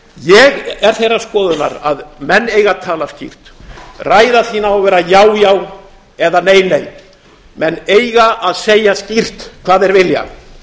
ég er þeirrar skoðunar að menn eigi að tala skýrt ræða þín á að vera já já eða nei nei menn eiga að segja skýrt hvað þeir vilja